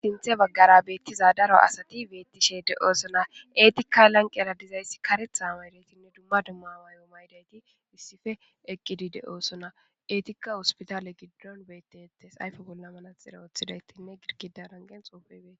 sinthe baggara beettiza daro asati beettishe de7oosona eetika lanqera dizayssi karetha maydaytinne dumma dumma waayo maydayti issife eqqidi de7oosona eetikka hospitale giddon betettes ayfe golla manaxira ooththidaytinne girgida rangen xoofebee